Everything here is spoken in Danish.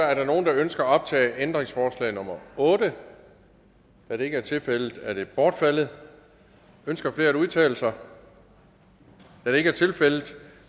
der er nogen der ønsker at optage ændringsforslag nummer 8 da det ikke er tilfældet er det bortfaldet ønsker flere at udtale sig da det ikke er tilfældet